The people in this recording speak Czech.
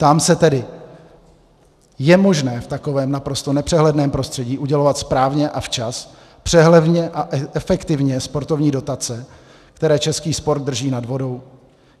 Ptám se tedy - je možné v takovém naprosto nepřehledném prostředí udělovat správně a včas, přehledně a efektivně sportovní dotace, které český sport drží nad vodou?